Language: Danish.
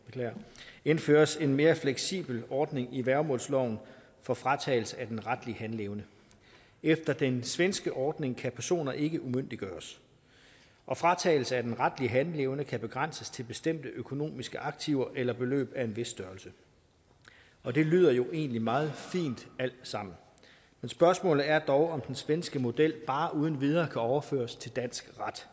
indføres en mere fleksibel ordning i værgemålsloven for fratagelse af den retlige handleevne efter den svenske ordning kan personer ikke umyndiggøres og fratagelse af den retlige handleevne kan begrænses til bestemte økonomiske aktiver eller beløb af en vis størrelse og det lyder jo egentlig meget fint alt sammen spørgsmålet er dog om den svenske model bare uden videre kan overføres til dansk ret